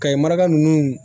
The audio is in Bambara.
Kayi maraka nunnu